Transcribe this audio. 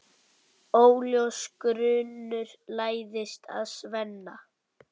Óljós grunur læðist að Svenna.